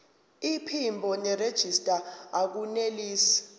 iphimbo nerejista akunelisi